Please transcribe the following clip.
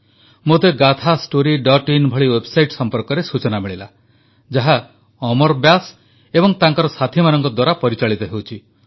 ମୋତେ gaathastoryin ଭଳି website ସମ୍ପର୍କରେ ସୂଚନା ମିଳିଲା ଯାହା ଅମର ବ୍ୟାସ୍ ଏବଂ ତାଙ୍କ ସାଥୀମାନଙ୍କ ଦ୍ୱାରା ପରିଚାଳିତ ହେଉଛି